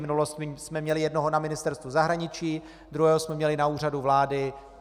V minulosti jsme měli jednoho na Ministerstvu zahraničí, druhého jsme měli na Úřadu vlády.